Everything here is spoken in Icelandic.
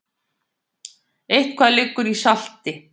Eitthvað liggur í salti